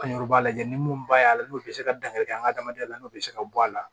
An yɛrɛ b'a lajɛ ni mun b'a la n'o bɛ se ka dankari kɛ an ka adamadenya la n'o bɛ se ka bɔ a la